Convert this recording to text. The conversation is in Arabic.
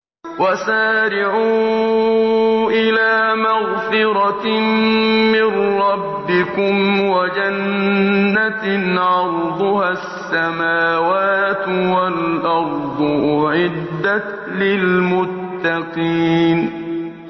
۞ وَسَارِعُوا إِلَىٰ مَغْفِرَةٍ مِّن رَّبِّكُمْ وَجَنَّةٍ عَرْضُهَا السَّمَاوَاتُ وَالْأَرْضُ أُعِدَّتْ لِلْمُتَّقِينَ ۞